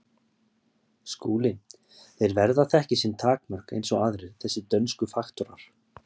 SKÚLI: Þeir verða að þekkja sín takmörk eins og aðrir, þessir dönsku faktorar.